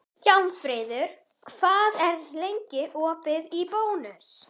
Hjálmfríður, hvað er lengi opið í Bónus?